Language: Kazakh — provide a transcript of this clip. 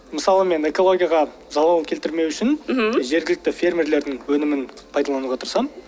мысалы мен экологияға залалымды келтірмеу үшін мхм жергілікті фермерлердың өнімін пайдалануға тырысамын